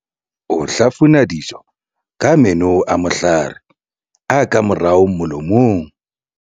o hlafuna dijo ka meno a mohlahare a ka morao molomong